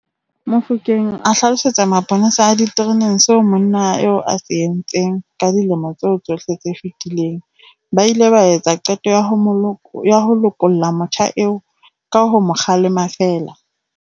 Mofokeng a hlalosetsa maponesa a ditereneng seo monna eo a se entseng ka dilemo tseo tsohle tse fetileng, ba ile ba etsa qeto ya ho lokolla motjha eo ka ho mo kgalema feela.